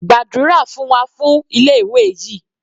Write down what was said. Gbàdúrà fún wa fún ilé ìwé yìí.